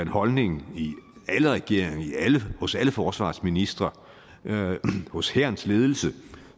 holdning i alle regeringer hos alle forsvarsministre hos hærens ledelse